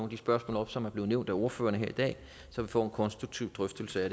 de spørgsmål op som er blevet nævnt af ordførerne her i dag så vi får en konstruktiv drøftelse af